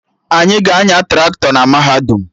Anyị ga-anya Traktọ na mahadum